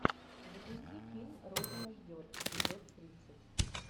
запусти фильм родина ждет эпизод тридцать